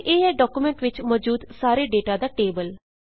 ਅਤੇ ਇਹ ਹੈ ਡਾੱਕੂਮੈਂਟ ਵਿੱਚ ਮੌਜੂਦ ਸਾਰੇ ਡੇਟਾ ਦਾ ਟੇਬਲ